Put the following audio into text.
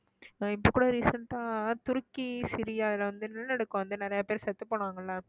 உம் இப்ப கூட recent ஆ துருக்கி, சிரியால வந்து நிலநடுக்கம் வந்து நிறைய பேர் செத்துப் போனாங்கல்ல